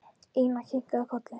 Ína kinkaði kolli.